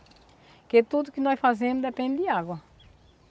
Porque tudo que nós fazemos depende de água.